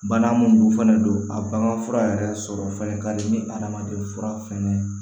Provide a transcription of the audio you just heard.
Bana mun dun fɛnɛ don a bagan fura yɛrɛ sɔrɔ fɛnɛ ka di ni adamaden fura fɛnɛ